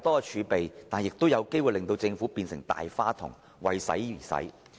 儲備太多可能會令政府變成"大花筒"及"為使而使"。